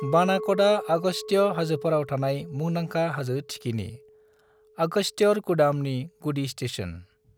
बनाक'डआ अगस्त्य हाजोफोराव थानाय मुंदांखा हाजो थिखिनि, अगस्त्यरकूडामनि गुदि स्टेशन।